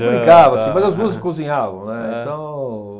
Brincava assim, mas as duas cozinhavam, né, então.